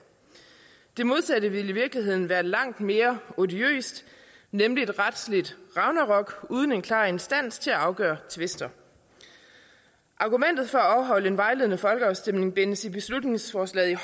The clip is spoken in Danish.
det modsatte ville i virkeligheden være langt mere odiøst nemlig et retsligt ragnarok uden en klar instans til at afgøre tvister argumentet for at afholde en vejledende folkeafstemning bindes i beslutningsforslaget i